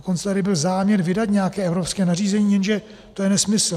Dokonce tady byl záměr vydat nějaké evropské nařízení, jenže to je nesmysl.